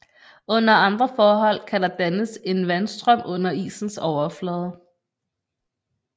Under andre forhold kan der dannes en vandstrøm under isens overflade